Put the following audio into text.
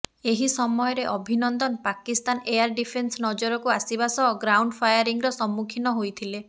ଏହି ସମୟରେ Abhinandan Pakistan air defence ନଜରକୁ ଆସିବା ସହ ଗ୍ରାଉଣ୍ଡ ଫାୟାରିଂର ସମ୍ମୁଖୀନ ହୋଇଥିଲେ